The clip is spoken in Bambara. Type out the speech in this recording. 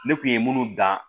Ne kun ye munnu dan